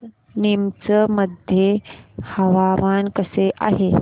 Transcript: आज नीमच मध्ये हवामान कसे आहे